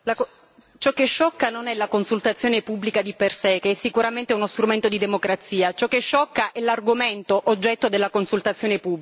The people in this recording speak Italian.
Ciò che sciocca non è la consultazione pubblica di per sé, che è sicuramente uno strumento di democrazia, ciò che sciocca è l'argomento oggetto della consultazione pubblica.